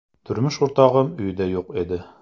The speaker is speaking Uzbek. Turmush o‘rtog‘im uyda yo‘q edi.